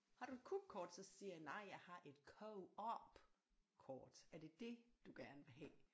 Har du et Coop-kort så siger jeg nej jeg har et Coop-kort er det det du gerne vil have